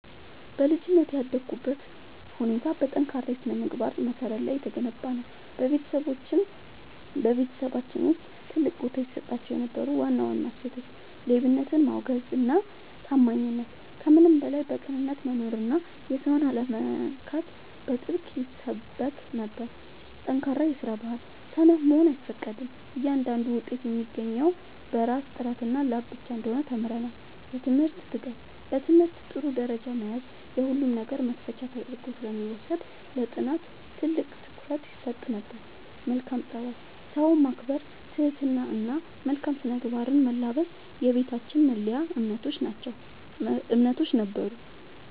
በልጅነቴ ያደግኩበት ሁኔታ በጠንካራ የሥነ-ምግባር መሠረት ላይ የተገነባ ነበር። በቤተሰባችን ውስጥ ትልቅ ቦታ ይሰጣቸው የነበሩ ዋና ዋና እሴቶች፦ ሌብነትን ማውገዝና ታማኝነት፦ ከምንም በላይ በቅንነት መኖርና የሰውን አለመንካት በጥብቅ ይሰበክ ነበር። ጠንካራ የስራ ባህል፦ ሰነፍ መሆን አይፈቀድም፤ እያንዳንዱ ውጤት የሚገኘው በራስ ጥረትና ላብ ብቻ እንደሆነ ተምረናል። የትምህርት ትጋት፦ በትምህርት ጥሩ ደረጃ መያዝ የሁሉም ነገር መክፈቻ ተደርጎ ስለሚወሰድ ለጥናት ትልቅ ትኩረት ይሰጥ ነበር። መልካም ፀባይ፦ ሰውን ማክበር፣ ትህትና እና መልካም ስነ-ምግባርን መላበስ የቤታችን መለያ እምነቶች ነበሩ።